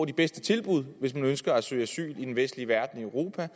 de bedste tilbud hvis man ønsker at søge asyl i den vestlige verden i europa